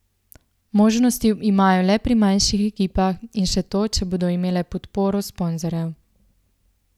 Možnosti imajo le pri manjših ekipah in še to, če bodo imele podporo sponzorjev.